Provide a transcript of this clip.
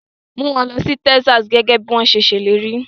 Mú wọn lọ sí Texas gẹ́gẹ́ bí wọ́n ṣe ṣèlérí.